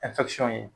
ye